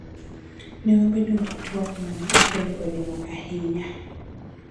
Ne wabedo gi twak ma ne okelo olemo ahinya.